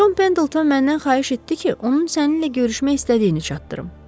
Jon Pendleton məndən xahiş etdi ki, onun səninlə görüşmək istədiyini çatdırım.